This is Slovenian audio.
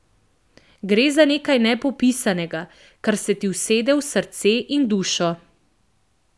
Gre za nekaj nepopisnega, kar se ti usede v srce in dušo.